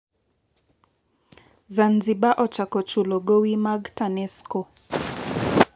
Zanzibar ochako chulo gowi mag TANESCO